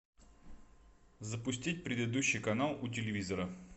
запустить предыдущий канал у телевизора